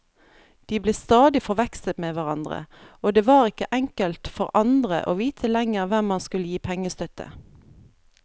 De ble stadig forvekslet med hverandre, og det var ikke enkelt for andre å vite lenger hvem man skulle gi pengestøtte.